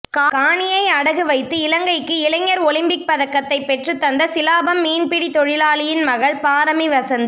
காணியை அடகு வைத்து இலங்கைக்கு இளைஞர் ஒலிம்பிக் பதக்கத்தை பெற்றுத் தந்த சிலாபம் மீன்பிடி தொழிலாளியின் மகள் பாரமி வசந்தி